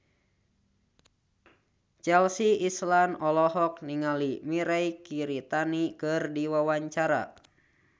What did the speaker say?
Chelsea Islan olohok ningali Mirei Kiritani keur diwawancara